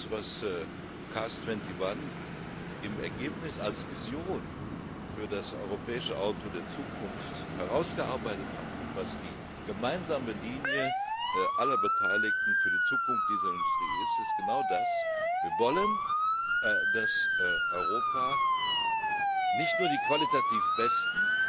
Was CARS 21 im Ergebnis als Vision für das europäische Auto der Zukunft herausgearbeitet hat und was die gemeinsame Linie aller Beteiligten für die Zukunft dieser Industrie ist, ist genau das Wir wollen, dass Europa nicht nur die qualitativ besten,